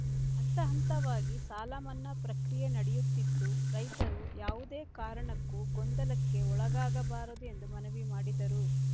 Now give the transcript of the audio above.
ಹಂತಹಂತವಾಗಿ ಸಾಲಮನ್ನಾ ಪ್ರಕ್ರಿಯೆ ನಡೆಯುತ್ತಿದ್ದು ರೈತರು ಯಾವುದೇ ಕಾರಣಕ್ಕೂ ಗೊಂದಲಕ್ಕೆ ಒಳಗಾಗಬಾರದು ಎಂದು ಮನವಿ ಮಾಡಿದರು